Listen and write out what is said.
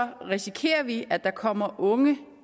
risikerer vi at der kommer unge